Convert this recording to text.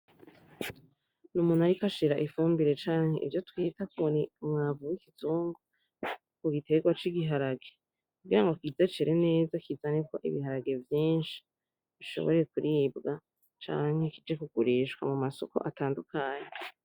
N’umuntu, ariko ashira ifumbire canke ivyo twita kubonamwavuwe ikizungo ku giterwa c'igiharage , kugira ngo kwizecere neza kizaneko ibiharage vyinshi bishobore kuribwa canke kije kugurishwa mu masoko atandukanye.